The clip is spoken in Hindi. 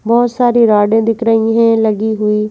बहुत सारी रोडे दिख रही हैं लगी हुई ।